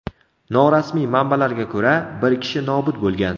Norasmiy manbalarga ko‘ra, bir kishi nobud bo‘lgan.